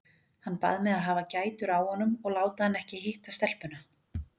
Hann bað mig að hafa gætur á honum og láta hann ekki hitta stelpuna.